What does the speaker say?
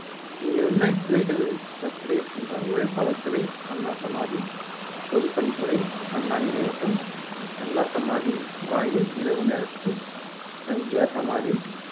இங்குள்ள துறைகள் எப்படி இருக்குமென்றால் உழைப்பாளர் சிலை, அண்ணா சமாதி, பொதுப்பணித்துறை, அண்ணா நினைவகம், அண்ணா சமாதி வாயில் இரவு நேரத்தில், எம் ஜி ஆர் சமாதி